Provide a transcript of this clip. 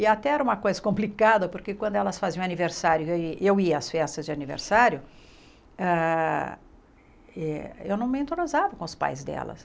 E até era uma coisa complicada, porque quando elas faziam aniversário, e eu ia às festas de aniversário, hã eh eu não me entroseava com os pais delas.